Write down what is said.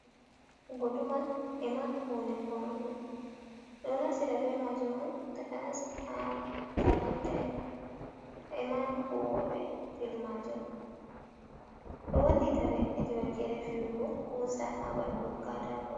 Guduma ema hunde foodugo ɓeɗo naftira be majum mon takanas ma ha kafinta en ema huwoɓe be filu majum ɗo wallita ɓe hedi wakkere fiwugo kusa ha ɓandu kataako.